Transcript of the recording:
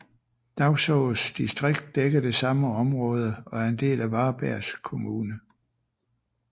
Dagsås distrikt dækker det samme område og er en del af Varbergs kommun